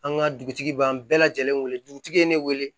An ka dugutigi b'an bɛɛ lajɛlen wele dugutigi ye ne wele